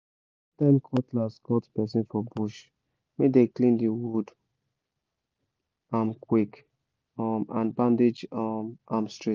anytime cutlass cut person for bush make dem clean the wound am quick and bandage am straight